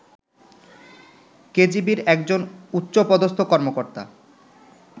কেজিবির একজন উচ্চপদস্থ কর্মকর্তা